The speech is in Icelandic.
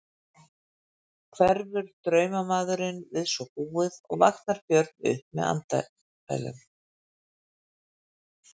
Hverfur draumamaður við svo búið og vaknar Björn upp með andfælum.